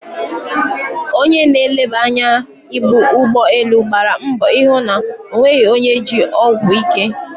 Onye na-eleba anya ibu ụgbọ elu gbara mbọ ịhụ na o nweghị onye ji ọgwụ ike.